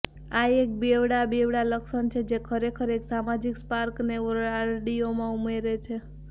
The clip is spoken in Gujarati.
આ એક બેવડા બેવડા લક્ષણ છે જે ખરેખર એક સામાજીક સ્પાર્કને આરડીયોમાં ઉમેરે છે